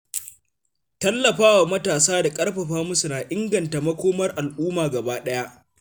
Tallafawa matasa da ƙarfafa musu na inganta makomar al’umma gabaɗaya.